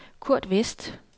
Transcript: Kurt Westh